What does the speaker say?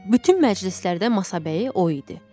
Bütün məclislərdə masabəyi o idi.